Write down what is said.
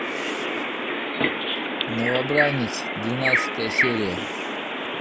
новобранец двенадцатая серия